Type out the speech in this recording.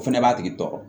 O fɛnɛ b'a tigi tɔɔrɔ